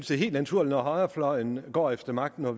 det er helt naturligt når højrefløjen går efter magten og har